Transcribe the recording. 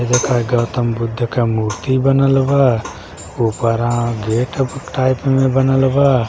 देखा गौतम बुद्ध का मूर्ति बनल हवा ऊपराँ गेट टाइप में बनल हवा।